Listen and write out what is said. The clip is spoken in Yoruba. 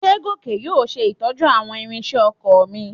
Ṣé Gòkè yóò ṣe ìtọ́jú àwọn ìrinṣẹ́ oko mi?